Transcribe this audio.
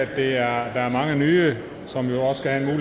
der er mange nye som jo skal have